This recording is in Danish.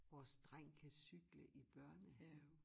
Vores dreng kan cykle i børnehave